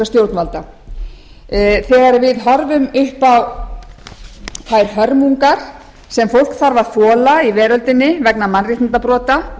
stjórnvalda þegar við horfum upp á þær hörmungar sem fólk þarf að þola í veröldinni vegna mannréttindabrota